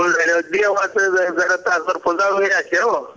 जरा तासभर